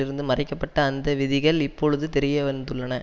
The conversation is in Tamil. இருந்து மறைக்க பட்ட அந்த விதிகள் இப்பொழுது வெளி வந்துள்ளன